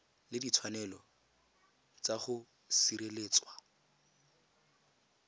le ditshwanelo tsa go sireletswa